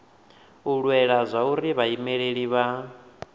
u lwela zwauri vhaimeleli vha